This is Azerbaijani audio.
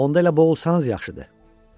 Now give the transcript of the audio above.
Onda elə boğulsanız yaxşıdır.